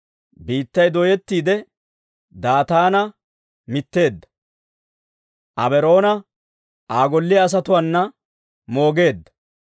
biittay dooyettiide Daataana mitteedda; Abiiraam Aa golliyaa asatuwaana moogeedda.